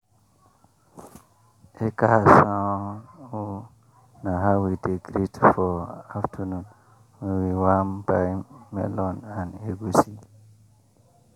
ekaasan o” na how we dey greet for afternoon when we wan buy melon and egusi.